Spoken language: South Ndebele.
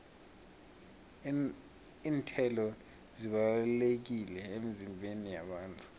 iinthelo zibalulekile emizimbeni yabantu